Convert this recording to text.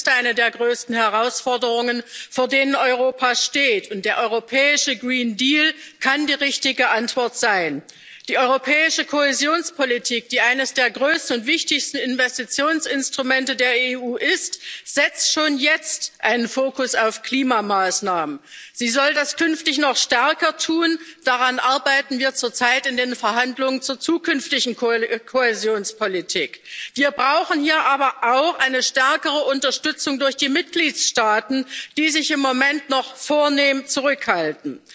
Frau Präsidentin, lieber Frans Timmermans! Ja, der Klimawandel ist eine der größten Herausforderungen, vor denen Europa steht, und der europäische kann die richtige Antwort sein. Die europäische Kohäsionspolitik, die eines der größten und wichtigsten Investitionsinstrumente der EU ist, setzt schon jetzt einen Fokus auf Klimamaßnahmen. Sie soll das künftig noch stärker tun. Daran arbeiten wir zurzeit in den Verhandlungen zur zukünftigen Kohäsionspolitik. Wir brauchen hier aber auch eine stärkere Unterstützung durch die Mitgliedstaaten, die sich im Moment noch vornehm zurückhalten.